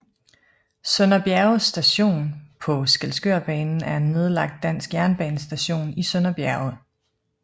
Sønder Bjerge Station på Skælskørbanen er en nedlagt dansk jernbanestation i Sønder Bjerge